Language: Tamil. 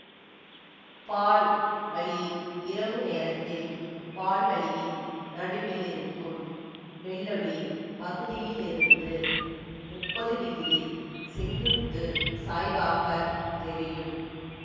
பால் வழி இரவு நேரத்தில் பால்வழியின் நடுவில் இருக்கும் வெள்ளொளி பகுதியில் இருந்து முப்பது டிகிரி செங்குத்துச் சாய்வாகத் தெரியும்